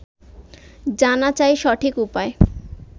জানা চাই সঠিক উপায়